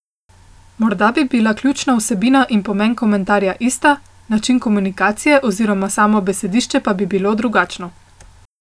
Morda bi bila ključna vsebina in pomen komentarja ista, način komunikacije oziroma samo besedišče pa bi bilo drugačno.